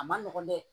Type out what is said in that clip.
A ma nɔgɔn dɛ